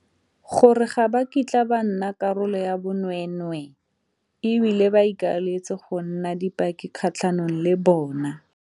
Gore ga ba kitla ba nna karolo ya bonweenweee e bile ba ikaeletse go nna dipaki kgatlhanong le bona.